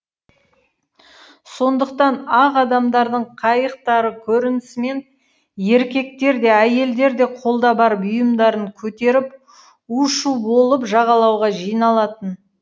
сондықтан ақ адамдардың қайықтары көрінісімен еркектер де әйелдер де қолда бар бұйымдарын көтеріп у шу болып жағалауға жиналатын